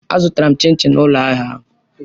Azụtara m chin chin na ụlọ ahịa ahụ.